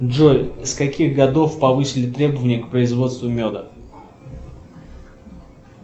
джой с каких годов повысили требования к производству меда